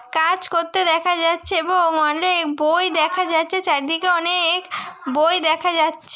কাজ করতে দেখা যাচ্ছে এবং অনেক বই দেখা যাচ্ছে চারদিকে অনেক বই দেখা যাচ --